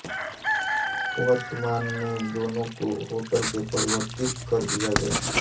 वर्तमान में दोनों को होटल में परिवर्तित कर दिया गया है